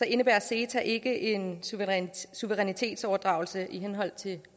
indebærer ceta ikke en suverænitetsoverdragelse i henhold til